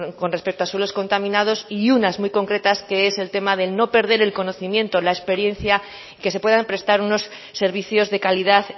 con respecto a suelos contaminados y unas muy concretas que es el tema de no perder el conocimiento la experiencia que se puedan prestar unos servicios de calidad